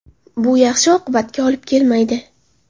Bu yaxshi oqibatga olib kelmaydi.